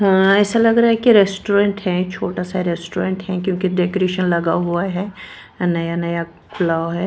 अं ऐसा लग रहा है की रेस्टोरेंट है छोटा सा रेस्टोरेंट है क्योंकि डेकोरेशन लगा हुआ है नया नया खुला हुआ है।